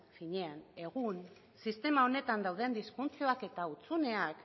finean egun sistema honetan dauden disfuntzioak eta hutsuneak